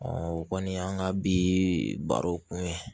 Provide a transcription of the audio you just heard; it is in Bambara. o kɔni y'an ka bi baro kun ye